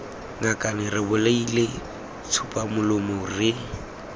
ngakane re bolaile tsupamolomo re